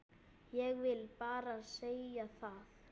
Ég vil bara segja það.